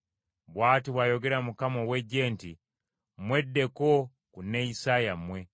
Bw’ati bw’ayogera Mukama ow’Eggye nti, “Mweddeko ku neeyisa yammwe.